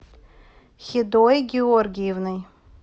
хедой георгиевной